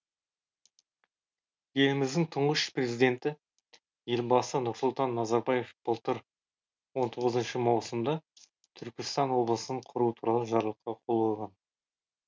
еліміздің тұңғыш президенті елбасы нұрсұлтан назарбаев былтыр он тоғызыншы маусымда түркістан облысын құру туралы жарлыққа қол қойған